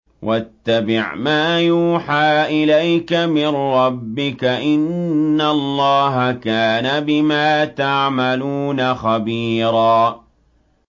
وَاتَّبِعْ مَا يُوحَىٰ إِلَيْكَ مِن رَّبِّكَ ۚ إِنَّ اللَّهَ كَانَ بِمَا تَعْمَلُونَ خَبِيرًا